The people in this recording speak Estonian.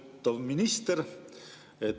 Lugupeetav minister!